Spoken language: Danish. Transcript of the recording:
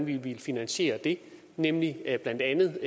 vi ville finansiere det nemlig blandt andet